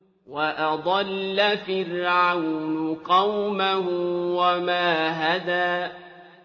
وَأَضَلَّ فِرْعَوْنُ قَوْمَهُ وَمَا هَدَىٰ